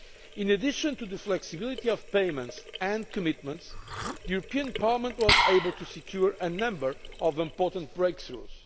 In addition to the flexibility of payments and commitments, Parliament was able to secure a number of important breakthroughs.